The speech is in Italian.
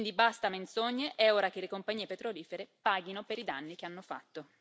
Quindi basta menzogne, è ora che le compagnie petrolifere paghino per i danni che hanno fatto.